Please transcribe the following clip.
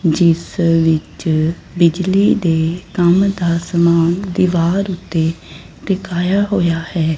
ਜਿਸ ਵਿੱਚ ਬਿਜਲੀ ਦੇ ਕੰਮ ਦਾ ਸਮਾਨ ਦੀਵਾਰ ਉੱਤੇ ਦਿਖਾਇਆ ਹੋਇਆ ਹੈ।